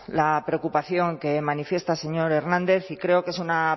la preocupación que manifiesta el señor hernández y creo que es una